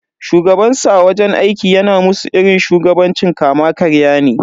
Shugabansu a wajen aiki yana musu irin shugabancin kama karya ne.